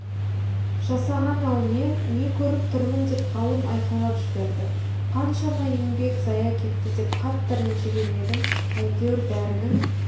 жасаған-ау мен не көріп тұрмын деп ғалым айқайлап жіберді қаншама еңбек зая кетті деп қатты ренжіген едім әйтеуір бәрінің